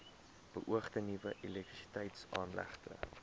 beoogde nuwe elektrisiteitsaanlegte